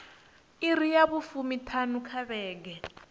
iri dza fumiṱhanu nga vhege